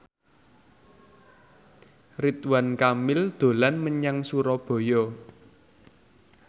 Ridwan Kamil dolan menyang Surabaya